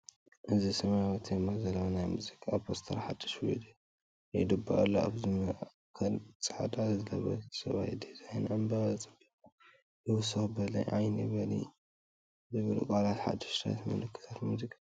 እዚ ሰማያዊ ቴማ ዘለዎ ናይ ሙዚቃ ፖስተር ሓድሽ ቪድዮ ይጽበ ኣሎ። ኣብ ማእከል ጻዕዳ ዝለበሰ ሰብኣይ ዲዛይን ዕምባባ ንጽባቐ ይውስኽ፤ ‘በሊ ዓደይ በሊ’ ዝብሉ ቃላት ሓድሽ ምልክት ሙዚቃ እዮም።